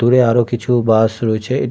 দূরে আরো কিছু বাস রয়েছে এটি --